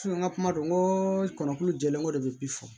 n ka kuma don n ko kɔnɔkulu jɛlen ko de bɛ bi fɔ